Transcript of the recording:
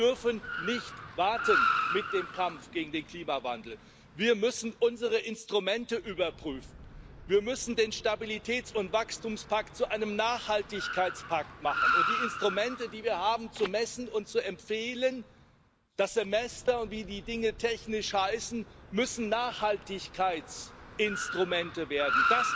Wir dürfen nicht warten mit dem Kampf gegen den Klimawandel, wir müssen unsere Instrumente überprüfen, wir müssen den Stabilitäts und Wachstumspakt zu einem Nachhaltigkeitspakt machen, und die Instrumente, die wir haben, um zu messen und zu empfehlen das Semester und wie die Dinge technisch heißen müssen Nachhaltigkeitsinstrumente werden.